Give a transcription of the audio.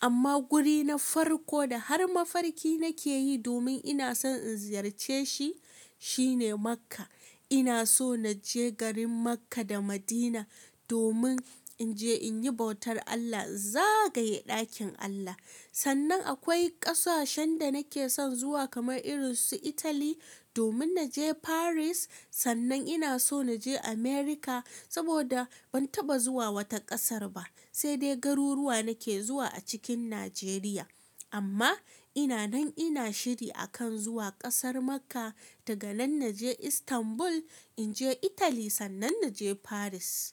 Amma guri na farko da har mafarki nake yi domin ina son in ziyarce shi, shine Makka. Ina so na je garin Makka da Madina domin in je in yi bautar Allah, zagaye ɗakin Allah. Sannan akwai ƙasashen da nake son zuwa kamar irin su Itali, domin na je Paris. Sannan ina so na je Amurka, saboda ban taɓa zuwa wata ƙasar ba, sai dai garuruwa nake zuwa a cikin Najeriya. Amma ina nan ina shiri a kan zuwa ƙasar Makka, daga nan na je Istanbul, in je Italy, sannan na je Paris.